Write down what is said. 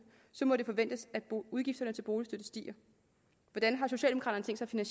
må det forventes at udgifterne til boligstøtte stiger hvordan har socialdemokraterne